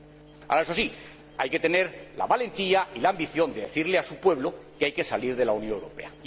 Ahora, eso sí, hay que tener la valentía y la ambición de decirle a su pueblo que hay que salir de la Unión Europea.